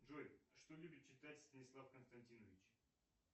джой что любит читать станислав константинович